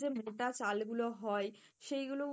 যে মোটা চাল গুলো হয় সেই গুলোও